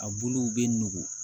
A buluw bɛ nugu